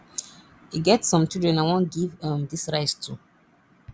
e get some children i wan give um dis rice to